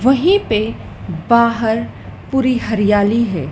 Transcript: वहीं पे बाहर पूरी हरियाली है।